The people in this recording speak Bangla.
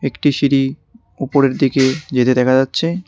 একটি সিঁড়ি উপরের দিকে যেতে দেখা যাচ্ছে।